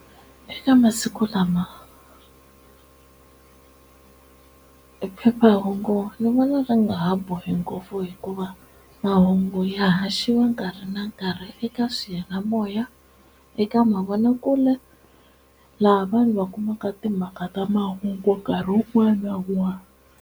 Eka masiku lama e phephahungu ni vona ri nga ha bohi ngopfu hikuva mahungu ya haxiwa nkarhi na nkarhi eka swiyanimoya eka mavonakule laha vanhu va kumaka timhaka ta mahungu nkarhi wun'wani na wun'wani.